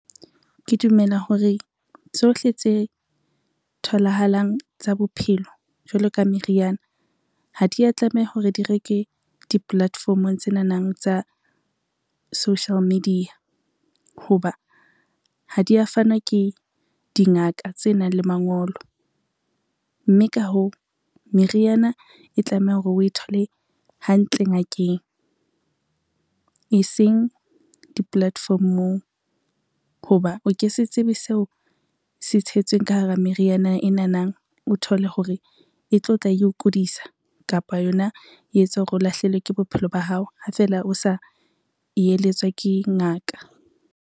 Ke dumela hore tsohle tse tholahalang tsa bophelo jwalo ka meriana ha dia tlameha hore di reke di-platform-ong tsenanang tsa social media, ho ba ha dia fanwa ke dingaka tse nang le mangolo. Mme ka hoo, meriana e tlameha hore o e thole hantle ngakeng e seng di-platform-ong, ho ba o ke se tsebe seo se tshetsweng ka hara meriana enana, o thole hore e tlo tla eo kudisa kapa yona e etsa hore o lahlehelwe ke bophelo ba hao ha feela o sa eletswa ke ngaka.